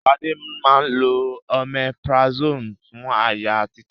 Ṣadé máa ń lo omeprazole fún àyà títa